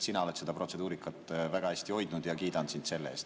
Sina oled seda protseduurikat väga hästi hoidnud ja kiidan sind selle eest.